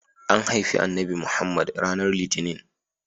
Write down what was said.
An haifi Annabi Muhammad ranar litinin.